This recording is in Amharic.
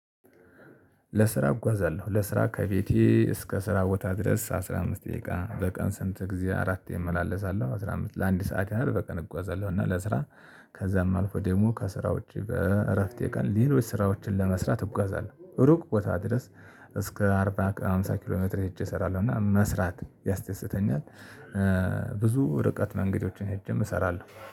ለስራ እጓዛለሁ ለስራ ከቤቴ እስከ ስራ ቦታ ድረስ አስራ አምስት ደቂቃ በቀን ስንት ግዜ አራቴ ይመላለሳለሁ። አስራ አምስት ለአንድ ሰዓት ያህል በቀን እጓዛለሁ እና ለስራ። ከዛም አልፎ ደግሞ ከስራው ውጭ በእረፍቴ ቀን ሌሎች ስራዎችን ለመስራት እጓዛለሁ ሩቅ ቦታ ድረስ እስከ አርባ ሃምሳ ኪሎ ሜትር ሄጄ እሰራለሁ እና መስራት ያስደስተኛል። ብዙ ርቀት መንገዶችን ሄጄም እሰራለሁ